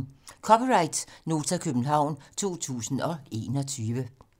(c) Nota, København 2021